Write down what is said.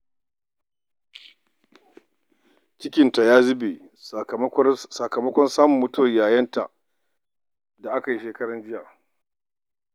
Cikinta ya zube, sakamakon samun labarin mutuwar yayanta a makon jiya.